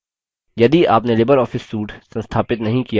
यदि आपने libreoffice suite संस्थापित नहीं किया है